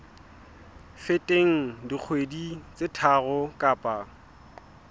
feteng dikgwedi tse tharo kapa